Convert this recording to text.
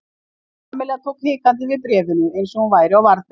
Kamilla tók hikandi við bréfinu eins og hún væri á varðbergi.